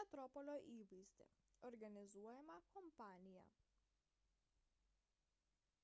metropolio įvaizdį organizuojamą kampaniją